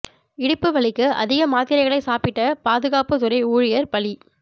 இடுப்பு வலிக்கு அதிக மாத்திரைகளை சாப்பிட்ட பாதுகாப்பு துறை ஊழியர் பலி